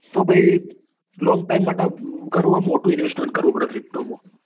તો પહી long time માટે કરવું હોય ન મોટું invest કરવું પડે pto માં